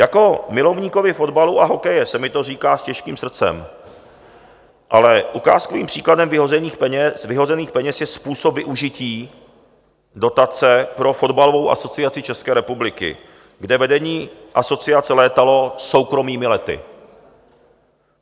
Jako milovníkovi fotbalu a hokeje se mi to říká s těžkým srdcem, ale ukázkovým příkladem vyhozených peněz je způsob využití dotace pro fotbalovou asociaci České republiky, kde vedení asociace létalo soukromými lety.